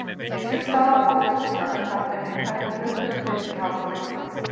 Misjöfn staða fólks gagnvart tækninni Hvert er hlutverk þitt í Háskóla Íslands?